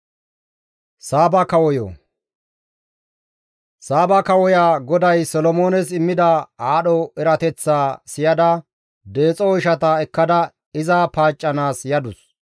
Saaba kawoya GODAY Solomoones immida aadho erateththaa siyada deexo oyshata ekkada iza paaccanaas yadus.